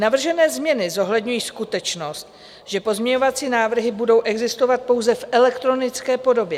Navržené změny zohledňují skutečnost, že pozměňovací návrhy budou existovat pouze v elektronické podobě.